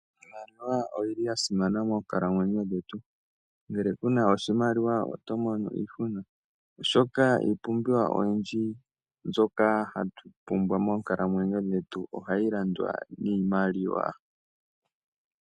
Iimaliwa oyili yasimana moonkalamwenyo dhetu, ngele kuna oshimaliwa oto mono iishuna, oshoka iipumbiwa oyindji mbyoka hatu pumbwa moonkalamwenyo dhetu ohayi landwa niimaliwa.